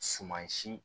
Suman si